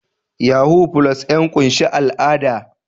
Yahoo+ ya ƙunshi al'ada